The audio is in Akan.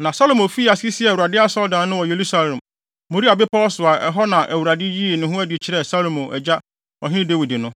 Na Salomo fii ase sii Awurade Asɔredan no wɔ Yerusalem Moria bepɔw so a ɛhɔ na Awurade yii ne ho adi kyerɛɛ Salomo agya Ɔhene Dawid no.